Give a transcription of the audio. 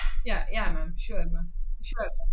yeah yeah ma'am sure ma'am